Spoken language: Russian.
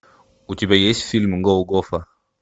у тебя есть фильм голгофа